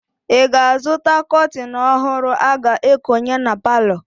Ị ga-azụta kọtịn ọhụrụ a ga-ekonye na palọ?